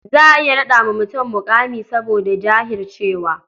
Za a iya naɗa wa mutum muƙami saboda jahircewa.